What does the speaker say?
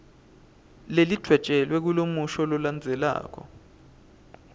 lelidvwetjelwe kulomusho lolandzelako